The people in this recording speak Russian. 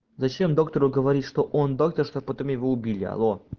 зачем доктору говорить что он доктор что потом его убили алло